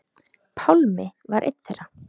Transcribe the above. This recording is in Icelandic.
Pálmi var einn þeirra.